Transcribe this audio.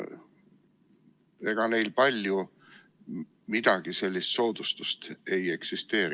Ega neile palju soodustusi ei eksisteeri.